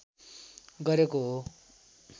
गरेको हो